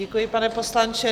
Děkuji, pane poslanče.